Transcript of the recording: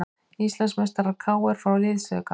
Íslandsmeistarar KR fá liðsauka